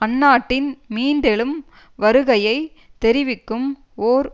அந்நாட்டின் மீண்டெழும் வருகையை தெரிவிக்கும் ஓர்